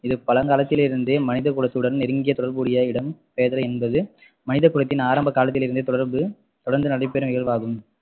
இது பழங்காலத்தில் இருந்தே மனித குலத்துடன் நெருங்கிய தொடர்புடைய இடம்பெயர்தல் என்பது மனிதகுலத்தின் ஆரம்ப காலத்தில் இருந்தே தொடர்பு தொடர்ந்து நடைபெறும் இயல்பாகும்